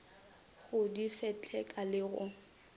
go di fetleka le go